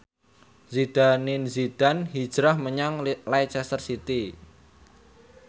Zidane Zidane hijrah menyang Leicester City